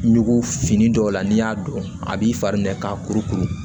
Ɲugu fini dɔw la n'i y'a dɔn a b'i fari ɲɛ k'a kuru kuru